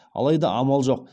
алайда амал жоқ